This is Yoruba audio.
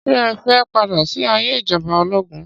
Ṣé ẹ fẹ́ padà sí ayé ìjọba ológun?